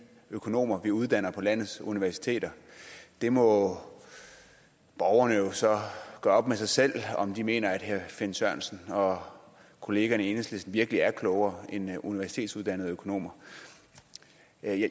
økonomer vi uddanner på landets universiteter der må borgerne jo så gøre op med sig selv om de mener herre finn sørensen og kollegaerne i enhedslisten virkelig er klogere end universitetsuddannede økonomer